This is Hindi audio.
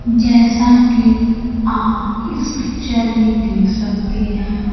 जैसा कि आप इस पिक्चर में देख सकते हैं